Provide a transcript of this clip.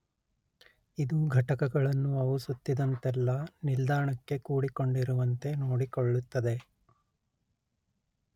ಇದು ಘಟಕಗಳನ್ನು ಅವು ಸುತ್ತಿದಂತೆಲ್ಲ ನಿಲ್ದಾಣಕ್ಕೆ ಕೂಡಿಕೊಂಡಿರುವಂತೆ ನೋಡಿಕೊಳ್ಳುತ್ತದೆ